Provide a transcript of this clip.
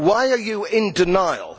Why are you in denial?